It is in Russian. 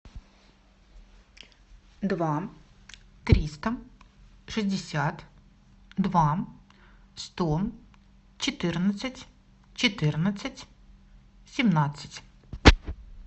два триста шестьдесят два сто четырнадцать четырнадцать семнадцать